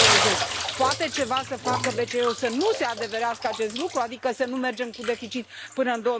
2020. Poate BCE să facă ceva să nu se adeverească acest lucru, adică să nu mergem cu deficit până în